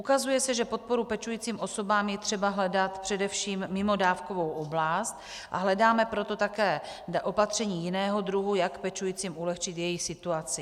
Ukazuje se, že podporu pečujícím osobám je třeba hledat především mimo dávkovou oblast, a hledáme proto také opatření jiného druhu, jak pečujícím ulehčit jejich situaci.